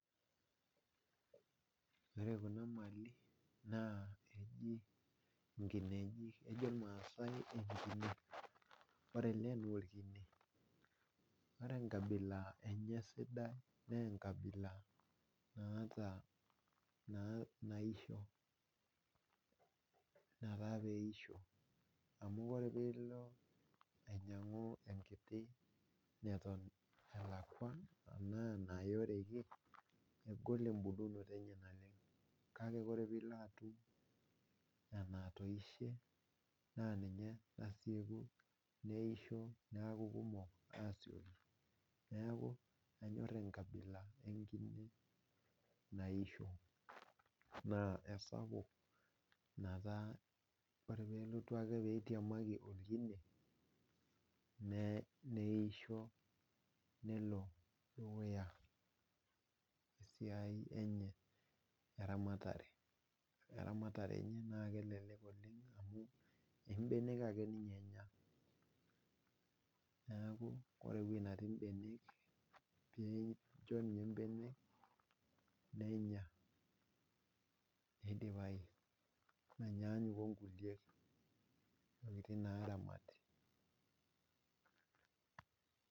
Ore kuna mali naa eji nkineji ,ejo irmaasai enkine ,ore ele naa orkine naa enkabila naisho naa keisho ,ore pee ilo ainyangu enkiti neton neyeoreki engol embulunoto enye naleng .kake ore pee ilo atum enatoisho naa ninche nasieku neisho neeku kumok aasioki neeku anyor enkabila enkine naisho ,naa esapuk netaa ore ake pee elotu pee eitiamaki orkine neisho nelo dukuya esiai enye eramatare enye naa kelelek oleng amu imbenek ake ninye enya ,neeku ore eweji netii mbenek pee incho ninye mbenek nenya neidipayu menyanyuk onkulie tokiting naaramati .